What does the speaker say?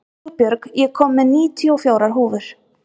Hugbjörg, ég kom með níutíu og fjórar húfur!